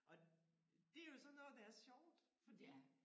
Og det jo sådan noget der er sjovt fordi